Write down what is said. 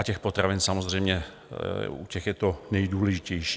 U těch potravin samozřejmě, u těch je to nejdůležitější.